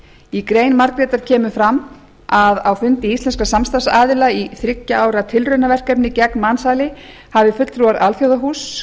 í grein margrétar kemur fram að á fundi íslenskra samstarfsaðila í þriggja ára tilraunaverkefni gegn mansali hafi fulltrúar alþjóðahúss